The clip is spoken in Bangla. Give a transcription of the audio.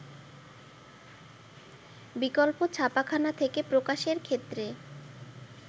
বিকল্প ছাপাখানা থেকে প্রকাশের ক্ষেত্রে